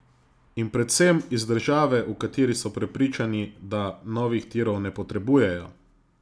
In predvsem, iz države, v kateri so prepričani, da novih tirov ne potrebujejo!